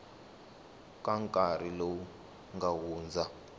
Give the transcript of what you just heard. ka nkarhi lowu nga hundza